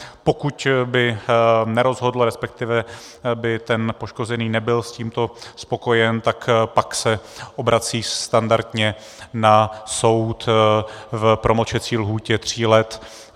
Pokud by nerozhodlo, respektive by ten poškozený nebyl s tímto spokojen, tak pak se obrací standardně na soud v promlčecí lhůtě tří let.